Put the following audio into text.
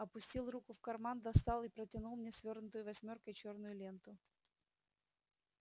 опустил руку в карман достал и протянул мне свёрнутую восьмёркой чёрную ленту